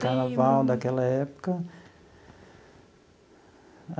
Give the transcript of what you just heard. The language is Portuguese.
Carnaval daquela época.